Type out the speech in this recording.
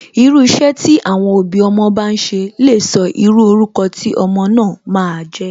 Irú iṣẹ́ tí àwọn òbí ọmọ bá n ṣe lè sọ irú orúkọ tí ọmọ náà ma a jẹ́.